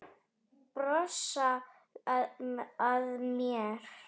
Brosa að mér!